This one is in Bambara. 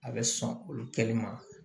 A bɛ sɔn olu kɛli ma